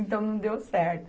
Então, não deu certo.